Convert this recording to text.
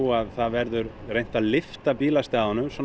að það verður reynt að lyfta bílastæðunum